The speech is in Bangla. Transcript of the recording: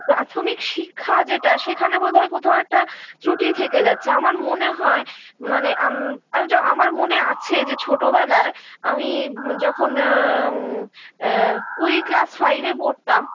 প্রাথমিক শিক্ষা যেটা সেখানে বোধহয় কোথাও একটা ক্রুটি থেকে যাচ্ছে আমার মনে হয় মানে আম আমার মনে আছে যে ছোটো বেলায় আমি যখন আ এ ঐ class five -এ পড়তাম